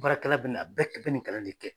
Baarakɛla bɛ na a bɛɛ bɛ nin galon ne tigɛ